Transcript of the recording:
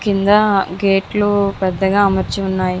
కింద గేటు కింద పెద్ద గేటు అమర్చి ఉనాది.